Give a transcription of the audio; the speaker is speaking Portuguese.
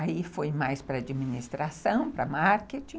Aí foi mais para a administração, para marketing.